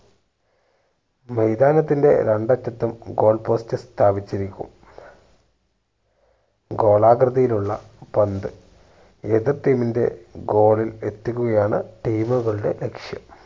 മൈതാനത്തിന്റെ രണ്ട് അറ്റത്തും goal post സ്ഥാപിച്ചിരിക്കും ഗോളാകൃതിയിലുള്ള പന്ത് എതിർ team ന്റെ goal ഇൽ എത്തിക്കുകയാണ് team കളുടെ ലക്ഷ്യം